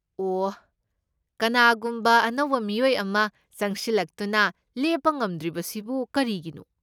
ꯑꯣꯍ, ꯀꯅꯥꯒꯨꯝꯕ ꯑꯅꯧꯕ ꯃꯤꯑꯣꯏ ꯑꯃ ꯆꯪꯁꯤꯜꯂꯛꯇꯨꯅ ꯂꯦꯞꯄ ꯉꯝꯗ꯭ꯔꯤꯕꯁꯤꯕꯨ ꯀꯔꯤꯒꯤꯅꯣ?